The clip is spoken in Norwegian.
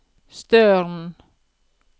Støren